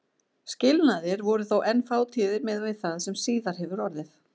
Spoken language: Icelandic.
Skilnaðir voru þó enn fátíðir miðað við það sem síðar hefur orðið.